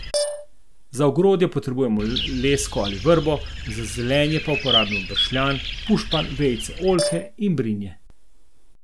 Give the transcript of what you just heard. Za ogrodje potrebujemo lesko ali vrbo, za zelenje pa uporabimo bršljan, pušpan, vejice oljke in brinje.